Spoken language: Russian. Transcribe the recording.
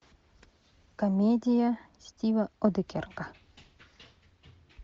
комедия стива одекерка